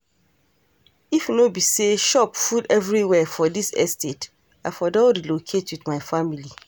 If no be say shop full everywhere for dis estate I for don relocate with my family